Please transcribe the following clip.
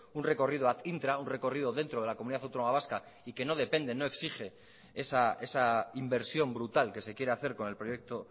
un recorrido intra un recorrido dentro de la comunidad autónoma vasca y que no depende no exige esa inversión brutal que se quiere hacer con el proyecto